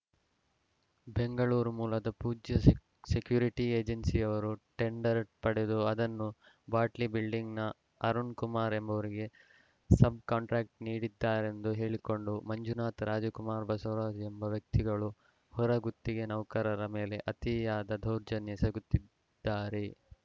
ಬೆಂಗಳೂರು ಮೂಲದ Pujya sec security ಏಜೆನ್ಸಿಯವರು tender ಪಡೆದು ಅದನ್ನು ಬಾಟ್ಲಿ ಬಿಲ್ಡಿಂಗ್‌ನ ಅರುಣಕುಮಾರ ಎಂಬುವರಿಗೆ ಸಬ್‌ ಕಾಂಟ್ರ್ಯಾಕ್ಟ್ ನೀಡಿದ್ದಾರೆಂದು ಹೇಳಿಕೊಂಡು ಮಂಜುನಥ ರಾಜಕುಮಾರ ಬಸವರಾಜ ಎಂಬ ವ್ಯಕ್ತಿಗಳು ಹೊರ ಗುತ್ತಿಗೆ ನೌಕರರ ಮೇಲೆ ಅತಿಯಾದ ದೌರ್ಜನ್ಯ ಎಸಗು ತ್ತಿ ದ್ದಾರೆ